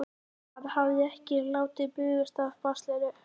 Hann hafði ekki látið bugast af baslinu.